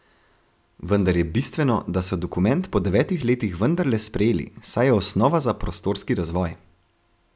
Vendar je bistveno, da so dokument po devetih letih vendarle sprejeli, saj je osnova za prostorski razvoj.